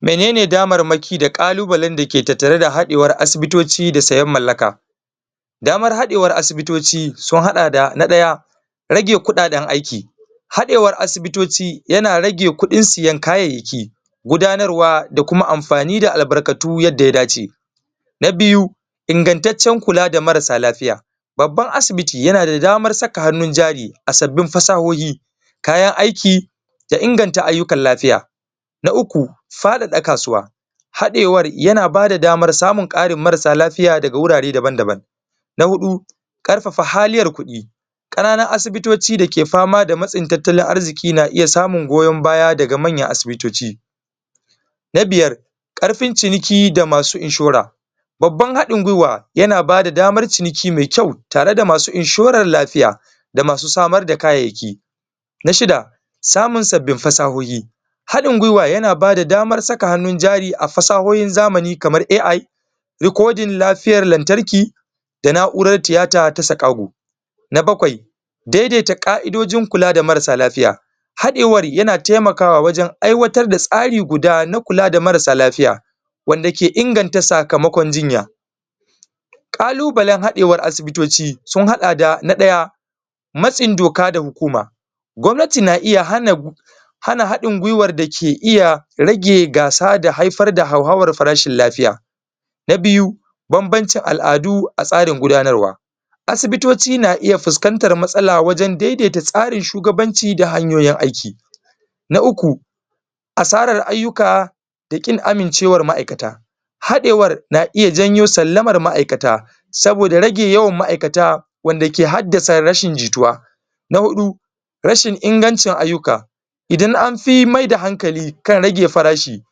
Menene damarmaki da kallubalai dake da hadewan asibitoci da sayan mallaka Damar hadewan asibitoci, sun hada da, na daya, rage kudaden aiki, hadewar asibitoci yana rage kudin sayan kayyayaki gudanarwa da kuma amfani da albarkatu yadda ya dace Na biyu, inganttacen kula da marasa lafiya. Babban asibiti yana da daman saka hanun jari, a sabin fasahoyohi kayan aiki, da inganta ayukan lafiya. Na uku, fadaka kasuwa hadewar yana ba da daman samun karin marasa lafiya ga wurare daban-daban Na hudu, karfafa haliyar kudi, kananun asibitoci dake fama da matsin tattalin arziki na iya samun goyon baya daga manyan asibitoci Na biyar, karfin ciniki da masu inshora babban hadin gwiwa yana ba da damar ciniki me kyau, tare da masu inshoran lafiya da masu samar da kayyayaki Na shida, samun sabbin fasahohi Hafin gwiwa yana ba da daman saka hanun jari a fasahohin zamani kamar AI rikodin lafiyar lantarki da nau'ran theata ta sakaho Na bakwai daidaita kai'dodin kula da marasa lafiya hadewan yana taimaka wajen aiwatar da tsari guda na kula da marasa lafiya. wanda ke inganta sakamakon jinya kallubalain hadewan asibitoci, sun hada da na daya matsin doka da hukuma Gwamnati na iya hana Gwamnati na iya hana hadin gwiwa da ke iya rage gasa da haifar da hauharan farashin lafiya. Na biyu, bambancin al'adu a tsarin gudanarwa Asibitoci na iya fuscantar matsala wajen daidaita tsarin shugabanci da hanyoyin aiki Na uku, asarar ayuka da kin amincewar ma'aikata hadewan na iya janyo salamar ma'aikata saboda rage yawan ma'aikata wadda ke haddasa rashin jituwa Na hudu, rashin ingancen ayyuka idan an fi mai da hankali kan rage farashi,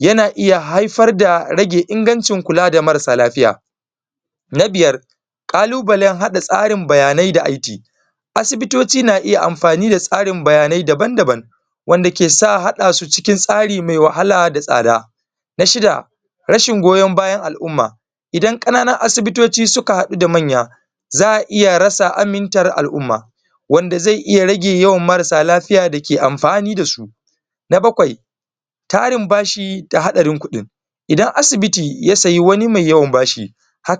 yana iya haifar da rage ingancin kula da marasa lafiya Na biyar, kallubalai hada tsarinbayanai da asibitoci na iya amfani tsarin bayanai daban daban wanda ke sa hada su cikin tsari me wahala da tsada Na shida, Rashin goyon bayan al'umma idan kananan asibitoci suka hadu da manya, za iya ratsa ammintar al'umma wanda ze iya rage marasa lafiya dake amfani da su Na bakwai. tarin bashi ta hadarin kudin idan asibiyi ya saya mai yawan bashi,